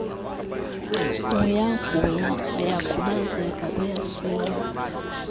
uyagula uyakhubazeka uyasweleka